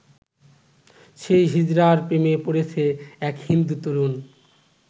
সেই হিজড়ার প্রেমে পড়েছে এক হিন্দু তরুণ।